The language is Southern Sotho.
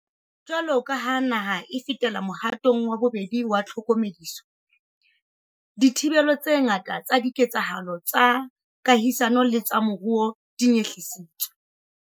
Jwaloka ha naha e fetela mohatong wa bobedi wa tlhokomediso, dithibelo tse ngata tsa diketsahalo tsa kahisano le tsa moruo di nyehlisitswe.